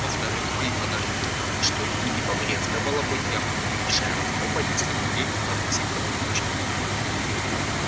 во-вторых мои подарки таковы что ими не побрезговала бы и августейшая особа если бы ей удалось их заполучить